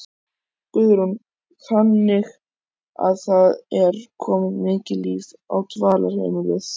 Guðrún: Þannig að það er komið mikið líf á dvalarheimilið?